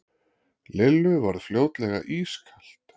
Lillu varð fljótlega ískalt.